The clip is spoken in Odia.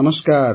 ନମସ୍କାର